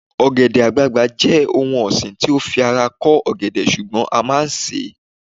ogede àgbagbà je oun osin ti o fi ara ko ọgẹdẹ sùgbón a ma n se